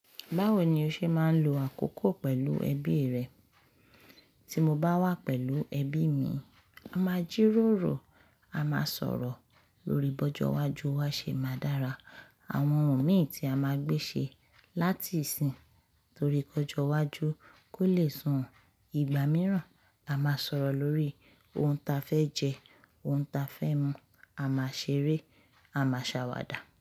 Báwo ni o ṣe máa ń lo àkókò pẹ̀lú ẹbí rẹ? Tí mo bá wà pẹ̀lú ẹbí mi, a máa jíròrò, a máa sọ̀rọ̀ lórí ìbọ́jú ọjọ́ iwájú wa ṣe máa dára. Àwọn ohun mi tí a máa gbé ṣe láti ìsìn tòrí kọjọ iwájú kó le sùn. Ìgbà mìíràn a máa sọ̀rọ̀ lórí ohun ta fẹ́ jẹ, ohun ta fẹ́ mu, a máa ṣeré, a máa ṣàwàdà.